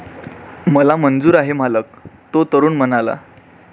मला मंजूर आहे, मालक, तो तरुण म्हणाला.